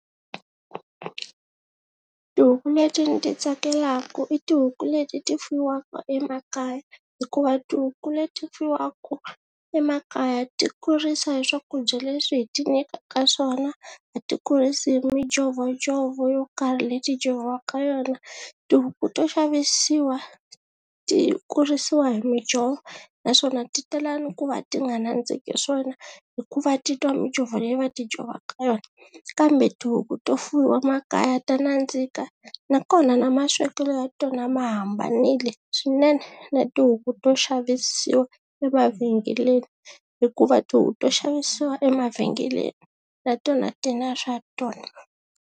Tihuku leti ni ti tsakelaka i tihuku leti ti fuyiwaka emakaya hikuva tihuku leti fuyiwaka emakaya ti kurisa hi swakudya leswi hi ti nyikaka swona a ti kurisi hi mijhovojhovo yo karhi leti jhoviwaka yona, tihuku to xavisiwa ti kurisiwa hi mijho naswona ti tala ni ku va ti nga nandziki swona hikuva titwa mijhovo leyi va ti jhovaka yona kambe tihuku to fuyiwa makaya ta nandzika nakona na maswekelo ya tona ma hambanile swinene na tihuku to xavisiwa emavhengeleni hikuva tihuku to xavisiwa emavhengeleni na tona ti na swa tona.